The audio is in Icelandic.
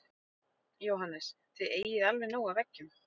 Jóhannes: Þið eigið alveg nóg af eggjum?